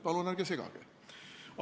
Palun ärge segage!